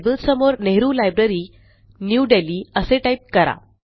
आता लेबल समोर Nehru library New Delhi असे टाईप करा